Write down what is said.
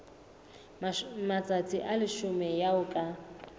matsatsi a leshome eo ka